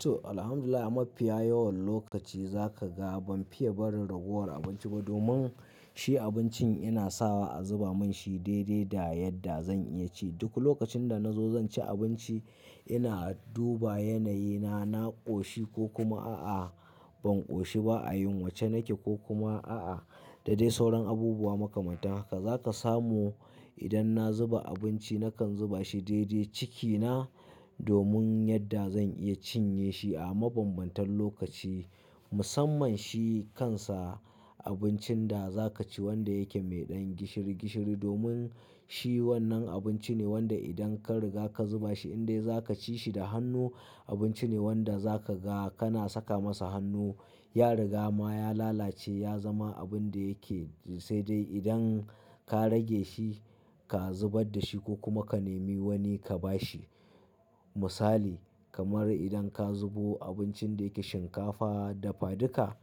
To, Alhamdulillah a mafiya yawan lokaci zaka ga banfiya barin ragowar abinci ba domin shi abincin yana sawa a zuba manshi daidai da yadda zan iya ci. Duk lokacin da nazo zan ci abinci, ina duba yanayi na, na koshi ko kuma a'a ban koshi ba a yin wacce nake ko kuma a'a da dai sauran abubuwa makamanta. Haka zaka samu idan na zuba abinci nakan zuba shi daidai cikina domin yadda zan iya cinye shi a mabambantan lokaci. Musamman shi kansa abincin da zakaci wanda yake mai ɗan gishiri gishiri domin shi wannan abinci ne wanda idan ka riga ka zuba shi in dai zakaci shi da hannu abinci ne wanda zaka ga kana saka masa hannu ya riga ma ya lalace ya zama abun da yake-- sai dai idan ka rage shi ka zubar da shi ko kuma ka nemi wani ka ba shi. Misali kamar idan ka zubo abincin da yake shinkafa dafaduka,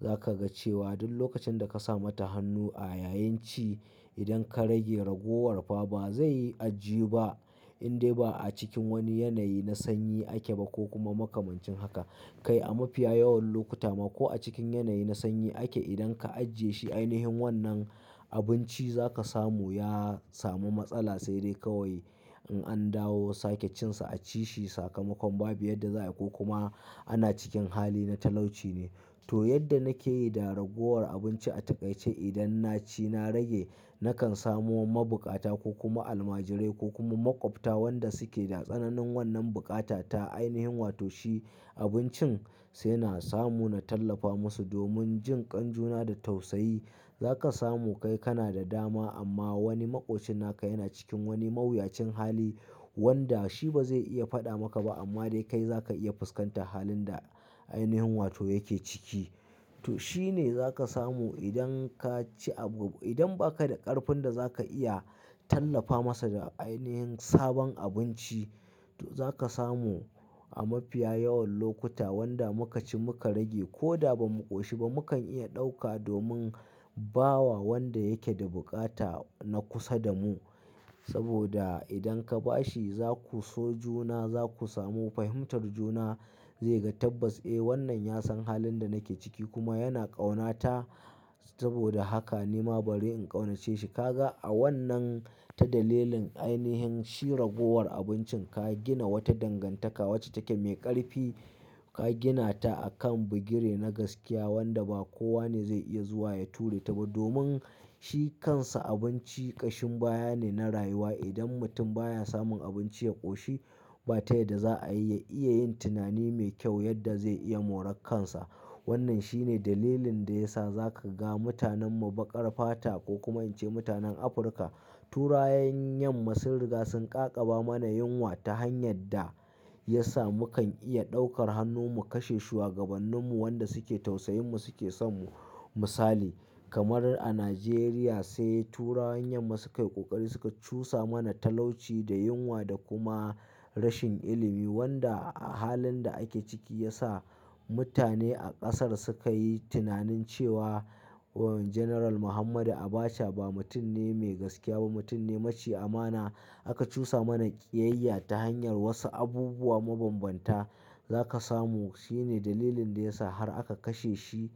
zaka ga cewa duk lokacin da kasa mata hannu a yayin ci idan ka rage ragowar fa bazai yi ajiyu ba in dai ba a cikin wani yanayi na sanyi ake ba ko kuma makamancin haka. Kai a mafiya yawan lokuta ma ko a cikin yanayi na sanyi ake idan ka ajiye shi ainihin wannan abinci zaka samu ya samu matsala sai dai kawai in an dawo sake cin sa a ci shi sakamakon ba biya yadda za a yi ko kuma ana cikin hali na talauci ne. To yadda nake yi da ragowar abinci a takaice idan naci na rage nakan samu ma bukata ko kuma almajirai ko kuma maƙwabta wanda suke da tsananin wannan bukata ta ainihin. Wato shi abincin sai na samu na tallafa musu domin jin ƙanjuna da tausayi. Zaka samu kai kana da dama amma wani maƙocin naka yana cikin wani mawuyacin hali wanda shi bazai iya faɗa maka ba amma dai kai zaka iya fuskantar halin da ainihin wato yake ciki. To shine zaka samu idan kaci abu-- idan baka da ƙarfin da zaka iya tallafa masa da ainihin sabon abinci. To zaka samu a mafiya yawan lokuta wanda muka ci muka rage ko da ba mu koshi ba mukan iya ɗauka domin bawa wanda yake da bukata na kusa da mu. Saboda idan ka ba shi zaku so juna zaku samu fahimtar juna. Zai ga tabbas, "Eh wannan ya san halin da nake ciki kuma yana ƙaunata saboda haka nima bari in ƙaunace shi." Kaga a wannan ta dalilin ainihin shi ragowar abincin ka gina wata dangantaka wacce take mai ƙarfi ka gina ta a kan bugire na gaskiya wanda ba kowane zai iya zuwa ya ture ta ba. Domin shi kansa abinci ƙashin baya ne na rayuwa. Idan mutum baya samun abinci ya koshi ba tayyad da za a yiya iya yin tunani mai kyau yadda zai iya moran kansa. Wannan shine dalilin da ya sa zaka ga mutanen mu bakar fata ko kuma in ce mutanen Afirka turawan yamma sun riga sun ƙaƙaba mana yunwa ta hanyar da ya sa mukan iya ɗaukar hannu mu kashe shuwagabannin mu wanda suke tausayin mu suke son mu. Misali kamar a Najeriya sai turawan yamma su kai ƙoƙari suka cusa mana talauci da yunwa da kuma rashin ilimi wanda a halin da ake ciki ya sa mutane a ƙasar suka yi tunanin cewa General Muhammadu Abacha ba mutum ne mai gaskiya ba, mutum ne maci amana. Aka cusa mana ƙiyayya ta hanyar wasu abubuwa mabambanta. Zaka samu shine dalilin da ya sa har aka kashe shi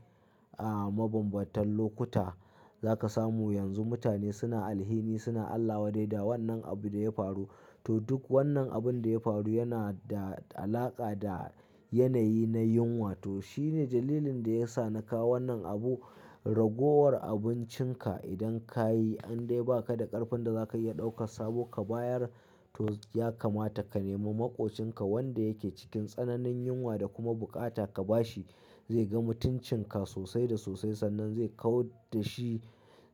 a mabambantan lokuta. Zaka samu yanzu mutane suna alhini suna Allah wadai da wannan abun da ya faru. To duk wannan abun da ya faru yana da alaƙa da yanayi na yunwa. To shine dalilin da ya sa nakawo wannan abu ragowar abincinka idan ka yi in dai baka da ƙarfin da zaka iya ɗauka sabo ka bayar. To ya kamata ka nemi maƙocinka wanda yake cikin tsananin yunwa da kuma bukata ka ba shi. Zai ga mutuncin ka sosai da sosai sannan zai kau da shi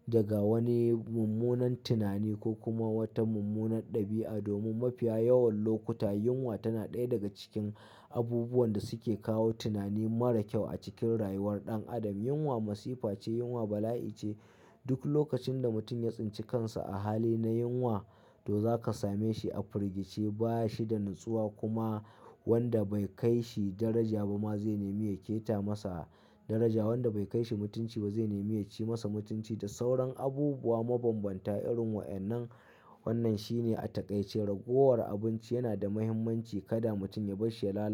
daga wani mummunan tunani ko kuma wata mummunan ɗabi'a. Domin mafiya yawan lokuta yunwa tana ɗaya daga cikin abubuwan da suke kawo tunani mara kyau a cikin rayuwar ɗan adam. Yunwa masifa ce, yunwa bala'i ce. Duk lokacin da mutum ya tsinci kansa a hali na yunwa to zaka same shi a firgice baya shi da natsuwa kuma wanda bai kai shi daraja ba ma zai nemi ya keta masa daraja. Wanda bai kai shi mutunci ba zai nemi ya ci masa mutunci da sauran abubuwa mabambanta irin wa'annan. Wannan shine a takaice ragowar abinci yana da muhimmanci kada mutum ya bar shi ya lalace.